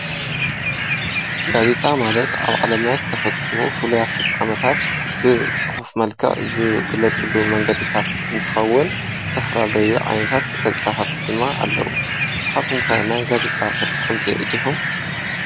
ጋዜጣ ማለት ኣብ ዓለምና ዝተፈፀሙ ንፉሉያት ፍፃመታት ብፅሑፍ መልክዕ ዝግለፅሉ መንገዲታት እትከውን ዝተፈላለየ ዓይነታ ጋዜጣታት ድማ ኣለው። ንስካትኩም ከ ናይ ጋዜጣ ተጠቀምቲ ድኩም?